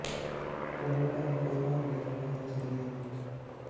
ਓਹ ਭਾਵੇਂ ਭਗਵਾਨ ਲਈ ਹੋਵੇ ਜਾਂ ਇਸਤਰੀਆਂ ਲਈ